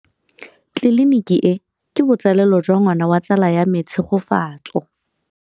Tleliniki e, ke botsalêlô jwa ngwana wa tsala ya me Tshegofatso.